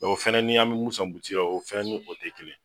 O fɛnɛ ni an mɛ mun san butigi la o fɛnɛ ni o tɛ kelen